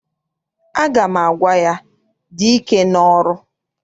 Aga m agwa ya, dị ike n'ọrụ!